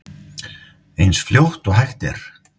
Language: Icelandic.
Eins fljótt og hægt er.